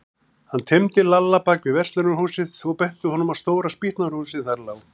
Hann teymdi Lalla bak við verslunarhúsið og benti honum á stóra spýtnahrúgu sem þar lá.